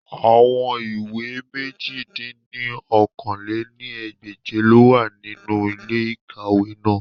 Awọn iwe mèje dín ní okòó-lé-ní-ẹgbẹ́je lowa ninu ile-ikawe naa.